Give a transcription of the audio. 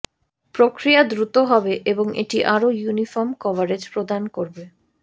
প্রক্রিয়া দ্রুত হবে এবং এটি আরো ইউনিফর্ম কভারেজ প্রদান করবে